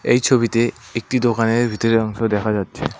এই ছবিতে একটি দোকানের ভিতরের অংশ দেখা যাচ্ছে।